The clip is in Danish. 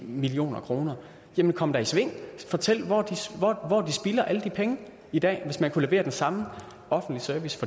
million kroner jamen kom da i sving og fortæl hvor de spilder alle de penge i dag hvis man kan levere den samme offentlige service